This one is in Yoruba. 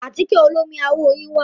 Àtíkẹ̀ olómi àwọ̀ yín wà.